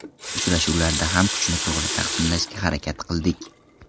Uchrashuvlarda ham kuchni to‘g‘ri taqsimlashga harakat qildik.